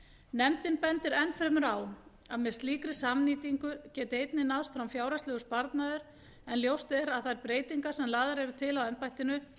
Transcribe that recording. nefndin bendir enn fremur á að með slíkri samnýtingu geti einnig náðst fram fjárhagslegur sparnaður en ljóst er að þær breytingar sem lagðar eru til á embættinu